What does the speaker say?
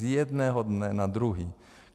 Z jednoho dne na druhý!